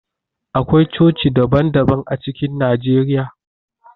Akwai coci daban daban a cikin Najeriya.